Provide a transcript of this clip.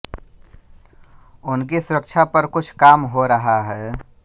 उनकी सुरक्षा पर कुछ काम हो रहा है